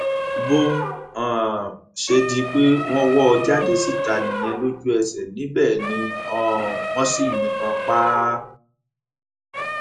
bó um ṣe di pé wọn wọ ọ jáde síta nìyẹn lójúẹsẹ níbẹ ni um wọn sì yìnbọn pa á